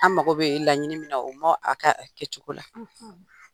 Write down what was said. An mago bi laɲini min na u ma a ka kɛcogo la